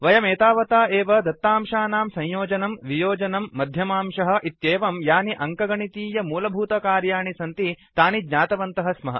वयमेतावता एव दत्तांशानां संयोजनम् वियोजनम् मध्यमांशः इत्येवं यानि अङ्कगणितीय मूलभूतकर्याणि सन्ति तानि ज्ञातवन्तः स्मः